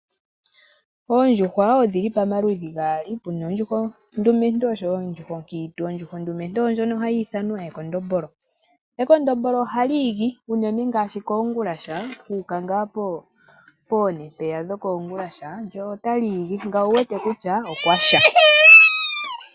Oondjuhwa wo odhili pamaludhi gaali pena oondjuhwa oondumentu oshowo oondjuhwa ookiintu ,ondjuhwa ondumentu ondjoka hayi ithanwa ekondombolo ,ekondombolo ohali igi unene ngaashi ngaa shuuka kongulasha poone mpeya ohali igi nangoye oto mono kutya okwasha.